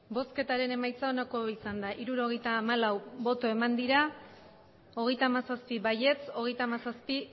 emandako botoak hirurogeita hamalau bai hogeita hamazazpi ez hogeita hamazazpi